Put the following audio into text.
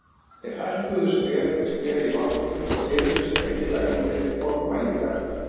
Þeir hækkuðu skref fyrir skref í vatninu og heyrðust greinilega í þeim formælingarnar.